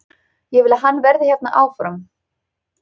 Ég vil að hann verði hérna áfram.